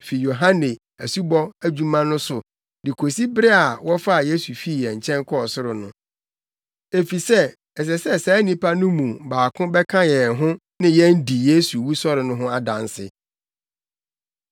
fi Yohane asubɔ adwuma no so de kosi bere a wɔfaa Yesu fii yɛn nkyɛn kɔɔ ɔsoro no, efisɛ ɛsɛ sɛ saa nnipa no mu baako bɛka yɛn ho ne yɛn di Yesu wusɔre no ho adanse.”